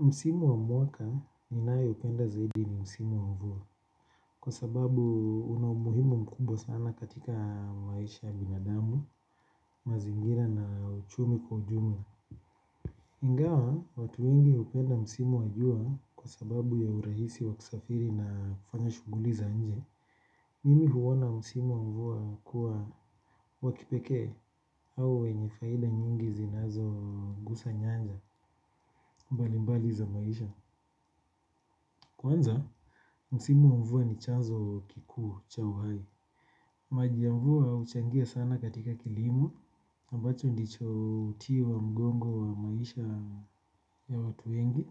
Msimu wa mwaka ninayoipenda zaidi ni msimu wa mvua. Kwa sababu una umuhimu mkubwa sana katika maisha ya binadamu, mazingira na uchumi kwa ujumla. Ingawa, watu ingi hupenda msimu wa jua kwa sababu ya urahisi wa kusafiri na kufanya shuguli za nje. Mimi huona msimu wa mvua kuwa wa kipeke au wenye faida nyingi zinazogusa nyanja, mbalimbali za maisha. Kwanza, msimu wa mvua ni chanzo kikuu cha uhai. Maji ya mvua huchangia sana katika kilimo ambacho ndicho uti wa mgongo wa maisha ya watu wengi